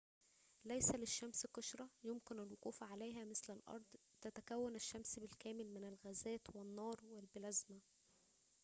ليس للشمس قشرة يمكنك الوقوف عليها مثل الأرض تتكون الشمس بالكامل من الغازات والنار والبلازما